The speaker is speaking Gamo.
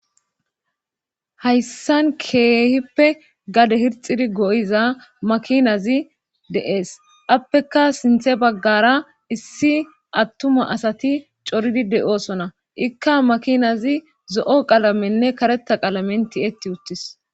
hayssan keehippe gade hirxidi go7iza makinazi deees appeka sinthe baggara issi attuma asati coridi de7oosona ikka makinazi zo7o qalamenne kareta qalamen ti etti uttis